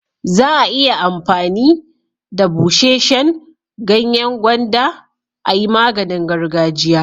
Za'a iya amfani da busheshen ganyen gwanda a'yi maganin gargajiya.